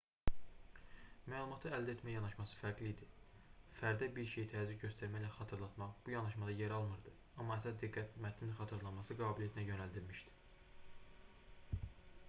məlumatı əldə etmə yanaşması fərqli idi fərdə bir şeyi təzyiq göstərməklə xatırlatmaq bu yanaşmada yer almırdı amma əsas diqqət mətnin xatırlanması qabiliyyətinə yönəldilmişdi